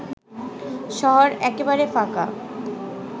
শহর একেবারে ফাঁকা